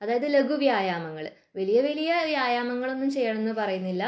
അതായത് ലഘു വ്യായാമങ്ങൾ വലിയ വലിയ വ്യായാമങ്ങൾ ഒന്നും ചെയ്യണമെന്ന് പറയുന്നില്ല